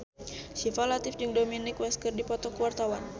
Syifa Latief jeung Dominic West keur dipoto ku wartawan